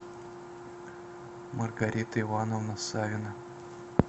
маргарита ивановна савина